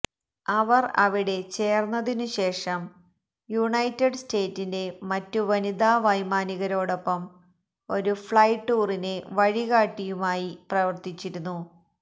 അവർ അവിടെ ചേർന്നതിനുശേഷം യുണൈറ്റഡ് സ്റ്റേറ്റ്സിന്റെ മറ്റു വനിതാ വൈമാനികരോടൊപ്പം ഒരു ഫ്ലൈ ടൂറിന് വഴികാട്ടിയുമായി പ്രവർത്തിച്ചിരുന്നു